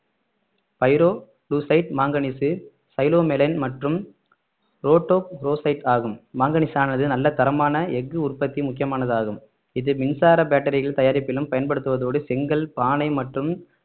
pyrolusite manganese psilomelane மற்றும் rhodochrosite ஆகும் மாங்கனீசானது நல்ல தரமான எஃகு உற்பத்தி முக்கியமானதாகும் இது மின்சார பேட்டரிகள் தயாரிப்பிலும் பயன்படுத்துவதோடு செங்கல் பானை மற்றும்